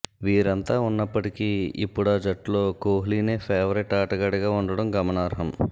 వీరంతా ఉన్నప్పటికీ ఇప్పుడా జట్టులో కోహ్లీనే ఫేవరేట్ ఆటగాడిగా ఉండటం గమనార్హం